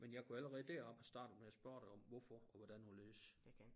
Men jeg kunne allerede deroppe have startet med at spørge dig om hvorfor og hvordan og hvorledes